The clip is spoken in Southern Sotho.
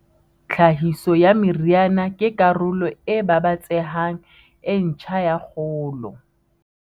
Tlhahiso ya meriana ke karolo e babatsehang e ntjha ya kgolo.